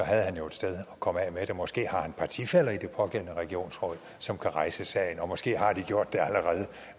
havde han jo et sted at komme af med det måske har han partifæller i det pågældende regionsråd som kan rejse sagen og måske har de gjort